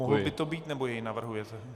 Mohl by to být, nebo jej navrhujete?